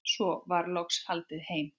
Svo var loks haldið heim.